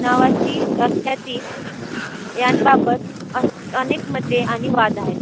नावाची व्याख्याती यांबाबत अनेक मते आणि वाद आहेत.